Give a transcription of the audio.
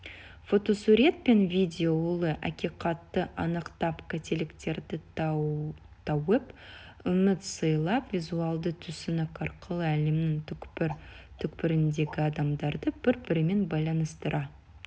фотосурет пен видео ұлы ақиқатты анықтап қателіктерді тауып үміт сыйлап визуалды түсінік арқылы әлемнің түкпір-түкпіріндегі адамдарды бір-бірімен байланыстыра